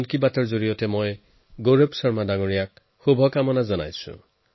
মন কী বাতৰ জৰিয়তে গৌৰৱ শৰ্মাজীক শুভকামনা জনাইছো